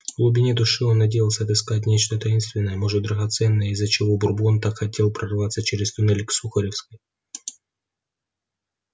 в глубине души он надеялся отыскать нечто таинственное может драгоценное из-за чего бурбон так хотел прорваться через туннель к сухаревской